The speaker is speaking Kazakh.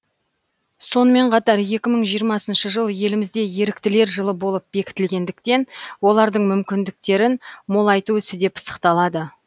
сонымен қатар екі мың жиырмасыншы жыл елімізде еріктілер жылы болып бекітілгендіктен олардың мүмкіндіктерін молайту ісі де пысықталады